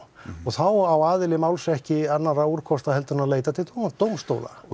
þá á aðili máls ekki annarra úrkosta en að leita til dómstóla